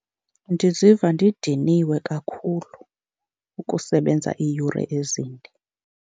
Ndiziva ndidiniwe kakhulu ukusebenza iiyure ezinde.